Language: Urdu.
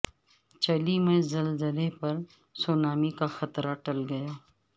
چلی میں زلزلہ پر سونامی کا خطرہ ٹل گیا